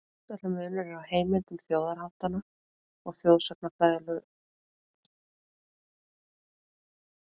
Grundvallarmunur er á heimildum þjóðháttanna og þjóðsagnafræðilegu heimildunum hvað þetta varðar.